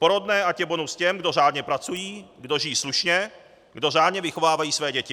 Porodné ať je bonus těm, kdo řádně pracují, kdo žijí slušně, kdo řádně vychovávají své děti.